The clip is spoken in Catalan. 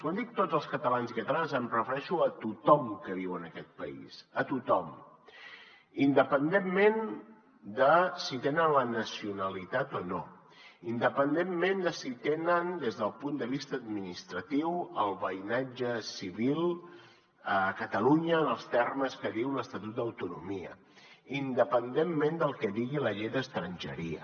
quan dic tots els catalans i catalanes em refereixo a tothom que viu en aquest país a tothom independentment de si tenen la nacionalitat o no independentment de si tenen des del punt de vista administratiu el veïnatge civil a catalunya en els termes que diu l’estatut d’autonomia independentment del que digui la llei d’estrangeria